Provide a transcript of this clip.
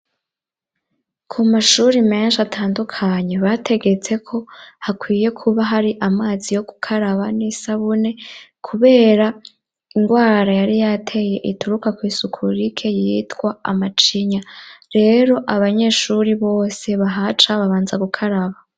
Ku mashuri menshi atandukanye bategetse ko hakwiye kuba hari amazi yo kukaraba n'isabune kubera indwara yari yateye ituruka kwisuku rike yitwa amacinya. Rero abanyeshuri bose bahaca babanza gukaraba.